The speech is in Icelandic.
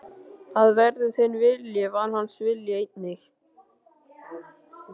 Að verði þinn vilji, var hans vilji einnig.